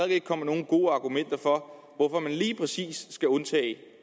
ikke kommet nogen gode argumenter for hvorfor man lige præcis skal undtage det